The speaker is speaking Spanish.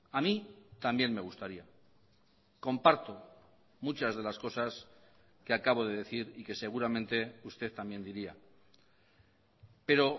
a mí también me gustaría comparto muchas de las cosas que acabo de decir y que seguramente usted también diría pero